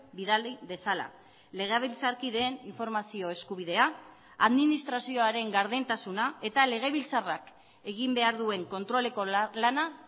bidali dezala legebiltzarkideen informazio eskubidea administrazioaren gardentasuna eta legebiltzarrak egin behar duen kontroleko lana